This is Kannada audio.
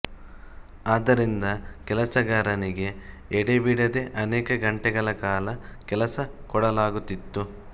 ಆದ್ದರಿಂದ ಕೆಲಸಗಾರನಿಗೆ ಎಡೆಬಿಡದೆ ಅನೇಕ ಗಂಟೆಗಳ ಕಾಲ ಕೆಲಸ ಕೊಡಲಾಗುತ್ತಿತ್ತು